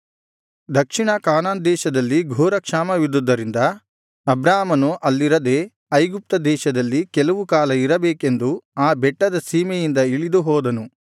ದಕ್ಷಿಣ Canaan ದೇಶದಲ್ಲಿ ಘೋರ ಕ್ಷಾಮವಿದ್ದುದರಿಂದ ಅಬ್ರಾಮನು ಅಲ್ಲಿರದೆ ಐಗುಪ್ತ ದೇಶದಲ್ಲಿ ಕೆಲವು ಕಾಲ ಇರಬೇಕೆಂದು ಆ ಬೆಟ್ಟದ ಸೀಮೆಯಿಂದ ಇಳಿದು ಹೋದನು